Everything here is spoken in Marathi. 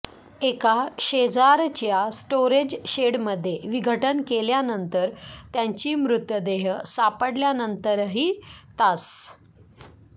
एका शेजारच्या स्टोरेज शेडमध्ये विघटन केल्यानंतर त्यांची मृतदेह सापडल्यानंतरही तास